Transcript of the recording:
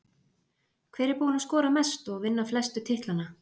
Hver er búinn að skora mest og vinna flestu titlana?